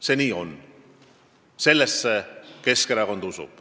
See on nii ja sellesse Keskerakond usub.